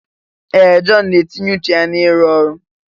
Ee! Jọn na-etinye ùchù n'ịrụ ọrụ.